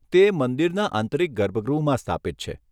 તે મંદિરના આંતરિક ગર્ભગૃહમાં સ્થાપિત છે.